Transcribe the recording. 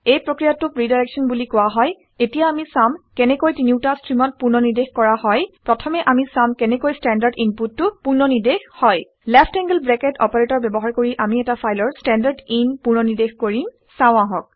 এই প্ৰক্ৰিয়াটোক ৰিডাইৰেক্সন বুলি কোৱা হয়। এতিয়া আমি চাম কেনেকৈ তিনিওটা ষ্ট্ৰিমত পুনৰ্নিৰ্দেশ কৰা হয়। প্ৰথমে অামি চাম কেনেকৈ ষ্ট্ৰেণ্ডাৰ্ড ইনপুটটো পুননিৰ্দেশ হয়। লেফ্ট এংলড ব্ৰেকেট অপাৰেটৰ ব্যৱহাৰ কৰি আমি এটা ফাইলৰ ষ্টেণ্ডাৰদিন পুনৰ্নিৰ্দেশ কৰিম চাওঁ আহক